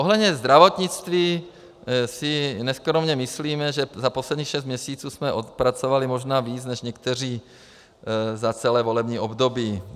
Ohledně zdravotnictví si neskromně myslíme, že za posledních šest měsíců jsme odpracovali možná víc než někteří za celé volební období.